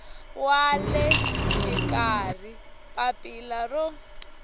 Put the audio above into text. wa le xikarhi papila ro